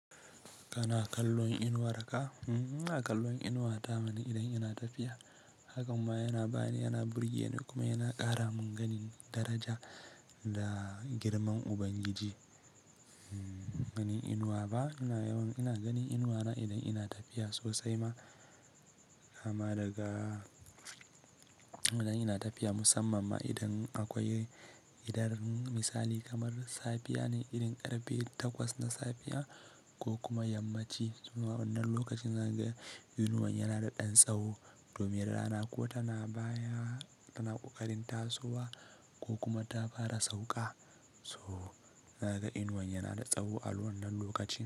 Kana kallon inuwar ka? Euhm ina kallon inuwa ta mana idan ina tafiya. Haka ma yana bani, yana burge ni kuma yana ƙara min gani daraja da girman Ubangiji. Gani inuwa ba, ina yawan ina ganin inuwa na idan ina tafiya sosai ma, kama daga idan ina tafiya musamman ma idan akwai idan misali kamar safiya ne, irin karfe takwas na safiya ko kuma yammaci. Nan lokacin zan ga inuwan yana da ɗan tsawo domin rana kuwa tana baya, tana ƙoƙarin tasowa ko kuma ta fara sauƙa. So zan ga inuwan yana da tsawo a wannan lokacin.